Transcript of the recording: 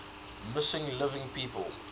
missing living people